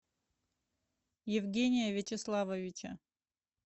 евгения вячеславовича